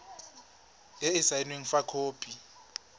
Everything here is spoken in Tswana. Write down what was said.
e e saenweng fa khopi